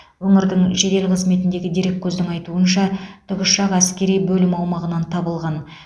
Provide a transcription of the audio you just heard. өңірдің жедел қызметіндегі дереккөздің айтуынша тікұшақ әскери бөлім аумағынан табылған